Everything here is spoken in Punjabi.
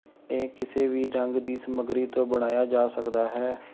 ਇਹ ਕਿਸੇ ਵੀ ਰੰਗ ਦੀ ਸਮੱਗਰੀ ਤੋਂ ਬਣਾਇਆ ਜਾ ਸਕਦਾ ਹੈ